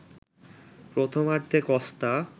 প্রথমার্ধে কস্তা